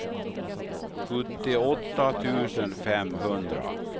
sjuttioåtta tusen femhundra